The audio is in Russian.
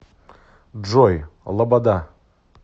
джой лобода